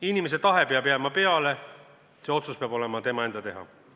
Inimese tahe peab jääma peale, see otsus peab olema tema enda teha.